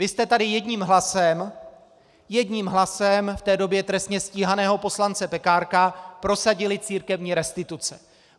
Vy jste tady jedním hlasem - jedním hlasem v té době trestně stíhaného poslance Pekárka - prosadili církevní restituce.